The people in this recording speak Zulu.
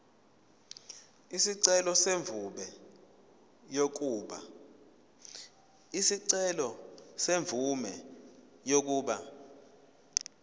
isicelo semvume yokuba